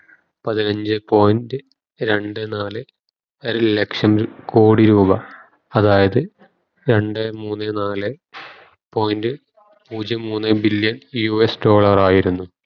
പതിനഞ്ചേ point രണ്ടേ നാല് ലക്ഷം കോടി രൂപ അതായത് രണ്ടേ മൂന്നേ നാലെ point പൂജ്യം മൂന്നേ billion US ഡോളറായിരുന്നു